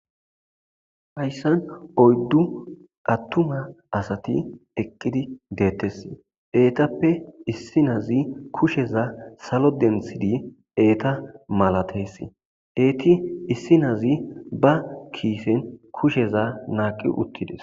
hayssan oyddu attuma asati eqqidi deettesi eetappe issi nazi kusheza salo denthidi eeta malatessi eeti issi nazi ba kiisen kusheza naaqi uttides.